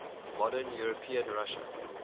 modern european russia